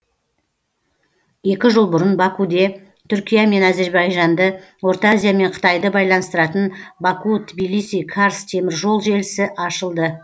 екі жыл бұрын бакуде түркия мен әзірбайжанды орта азия мен қытайды байланыстыратын баку тбилиси карс теміржол желісі ашылды